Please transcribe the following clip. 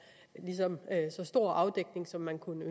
at er så stor afdækning som man kunne